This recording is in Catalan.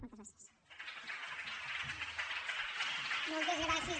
moltes gràcies